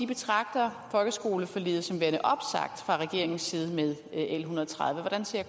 betragter folkeskoleforliget som værende opsagt fra regeringens side med l en hundrede og tredive hvordan ser